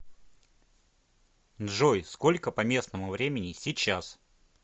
джой сколько по местному времени сейчас